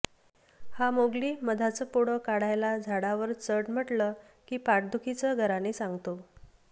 हा मोगली मधाचं पोळं काढायला झाडावर चढ म्हटलं की पाठदुखीचं गाऱ्हाणे सांगतो